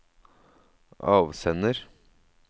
avsender